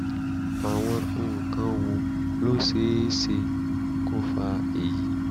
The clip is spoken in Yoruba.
àwọn nǹkan wo ló ṣe é ṣe kó fa èyí?